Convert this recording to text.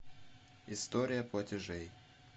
история платежей